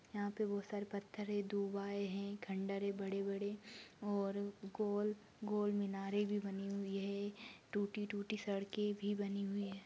यहा पर बहुत सारे पत्थरे दूबाए है। खंडरे बड़े- बड़े और गोल- गोल मीनारे भी बनी हुई है। टूटी- टूटी सड़के भी बनी हुई है।